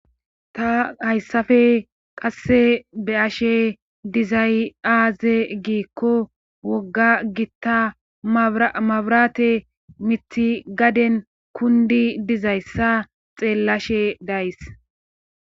ta hayssafe qasse be ashe dizayaaze giikko wogga gitta mabrate mithi gaden kundi dizayssa xeellashe days